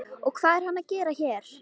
Og hvað er hann að gera hér?